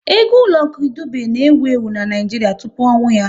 Egwu Lucky Dube na ewu ewu n'Naijiria tụpụ ọnwụ ya